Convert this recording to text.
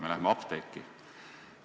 Me läheme apteeki.